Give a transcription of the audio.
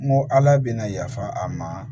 N ko ala bɛna yafa a ma